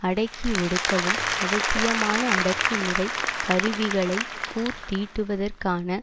அடக்கி ஒடுக்கவும் அவசியமான அடக்குமுறை கருவிகளை கூர்தீட்டுவதற்கான